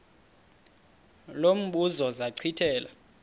lo mbuzo zachithela